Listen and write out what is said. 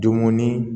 Dumuni